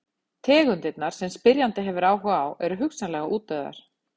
Tegundirnar sem spyrjandi hefur áhuga á eru hugsanlega útdauðar.